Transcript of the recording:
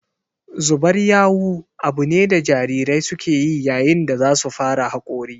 Zubar yawu abu ne da jarirai suke yi yayin da za su fara hakori